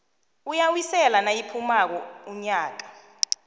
uyawisela nayiphumako unyaka